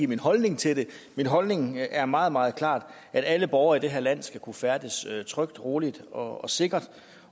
min holdning til det min holdning er meget meget klart at alle borgere i det her land skal kunne færdes trygt roligt og sikkert